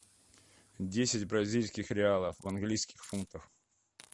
десять бразильских реалов в английских фунтах